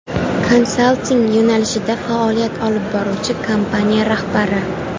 Konsalting yo‘nalishida faoliyat olib boruvchi kompaniya rahbari.